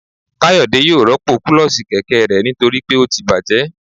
Kayode yóò rọpo kulosí kẹkẹ rẹ nitori pe o tí bajé